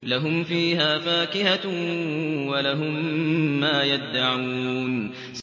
لَهُمْ فِيهَا فَاكِهَةٌ وَلَهُم مَّا يَدَّعُونَ